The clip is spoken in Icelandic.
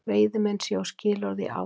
Veiðimenn séu á skilorði í ár